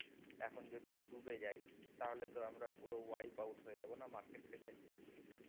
এখন যদি ডুবে যায় তাহলে তো আমরা পুরো wipe out হয়ে যাব market থেকে